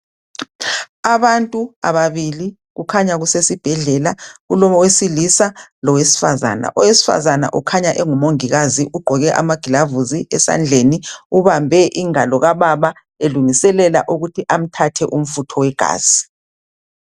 Abantu ababili kukhanya kusesibhedlela kulowesilisa lowesifazana, owesifazana ukhanya engumongikazi ugqoke amagilavusi esandleni ubambe ingalo kababa elungiselela ukuthi amthathe umfutho wegazi.